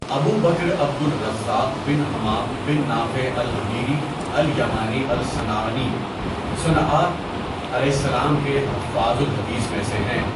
ابو بکر عبد الرزاق بن ہمام بن نافع الحمیری الیمانی الصنعانی، صنؑعاء کے حفاظ الحدیث میں سے ہیں.